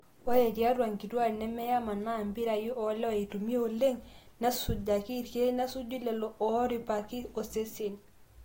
ore tiatwa nkituaak nemeyama naa impirai oolewa eitumiai oleng nesujaki irkeek nesuju lelo ooripakini osesen